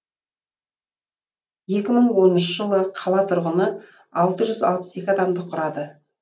екі мың оныншы жылы қала тұрғыны алты жүз алпыс екі адамды құрады